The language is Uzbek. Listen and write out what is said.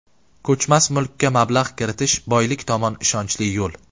Ko‘chmas mulkka mablag‘ kiritish boylik tomon ishonchli yo‘l.